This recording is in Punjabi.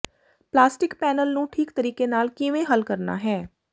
ਪਲਾਸਟਿਕ ਪੈਨਲ ਨੂੰ ਠੀਕ ਤਰੀਕੇ ਨਾਲ ਕਿਵੇਂ ਹੱਲ ਕਰਨਾ ਹੈ